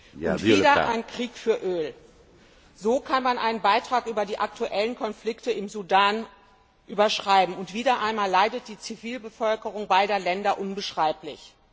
Herr Präsident! Und wieder ein Krieg für Öl. So kann man einen Beitrag über die aktuellen Konflikte im Sudan überschreiben. Und wieder einmal leidet die Zivilbevölkerung beider Länder unbeschreiblich.